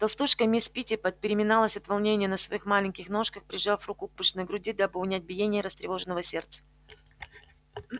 толстушка мисс питтипэт переминалась от волнения на своих маленьких ножках прижав руку к пышной груди дабы унять биение растревоженного сердца